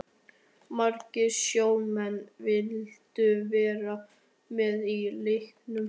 Margir sjómenn vildu vera með í leiknum.